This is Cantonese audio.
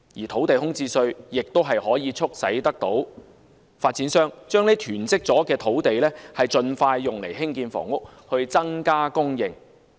土地空置稅也可促使發展商將囤積的土地盡快用作興建房屋以增加供應。